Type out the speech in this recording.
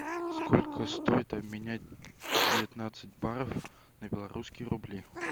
сколько стоит обменять девятнадцать баров на белорусские рубли